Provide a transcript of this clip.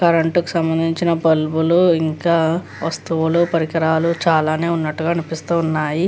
Current కు సంబంధించిన బల్బులు ఇంకా వస్తువులు పరికరాలు చాలా ఉన్నట్టుగానే అనిపిస్తున్నాయి.